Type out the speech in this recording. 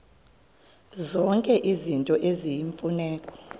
zonke izinto eziyimfuneko